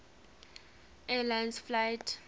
air lines flight